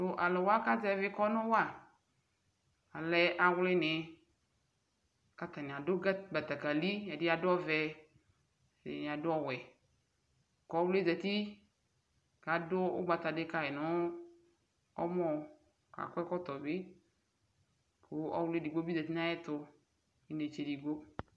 tʊ alʊwa kazɛvi ilevlesɛ wa, alɛ awlinɩ, kʊ atanɩ adʊ betekeli, ɛdɩ adʊ ɔvɛ, ɛdɩnɩ afʊ owɛ, kʊ ɔwli zati, kʊ adʊ ugbata dɩ kayi nʊ ɛmɔ, akɔ ɛkɔtɔ bɩ, kʊ ɔwli edigbo bɩ zati nʊ ayʊ ɛtʊ nʊ inetse edigbo